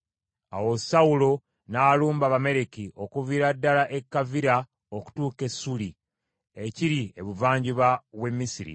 Awo Sawulo n’alumba Abamaleki okuviira ddala e Kavira okutuuka e Ssuuli, ekiri ebuvanjuba w’e Misiri.